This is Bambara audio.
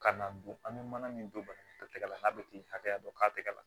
Ka na don an bɛ mana min don banakun tɛgɛ la n'a bɛ t'i hakɛya dɔ k'a tɛgɛ la